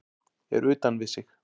Er utan við sig